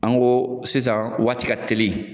An go sisan waati ka teli